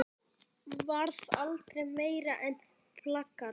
Varð aldrei meira en plakat.